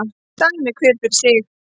Dæmi hver fyrir sig